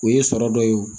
O ye sɔrɔ dɔ ye